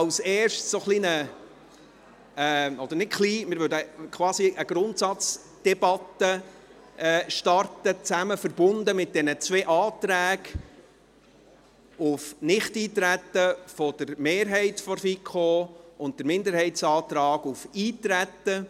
Als Erstes werden wir quasi mit einer Grundsatzdebatte beginnen, verbunden mit den beiden Anträgen auf Nichteintreten der Mehrheit der FiKo und dem Minderheitsantrag auf Eintreten.